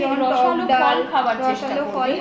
তুই রসালো ফল খাওয়ার চেষ্টা করবি